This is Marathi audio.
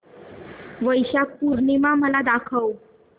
वैशाख पूर्णिमा मला दाखव